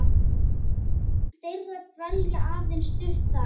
þeirra dvelji aðeins stutt þar.